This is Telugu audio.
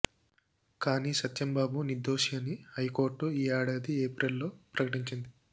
కానీ సత్యంబాబు నిర్ధోషి అని హైకోర్టు ఈ ఏడాది ఏప్రిల్లో ప్రకటించింది